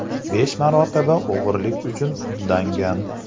Besh marotaba o‘g‘rilik uchun sudlangan.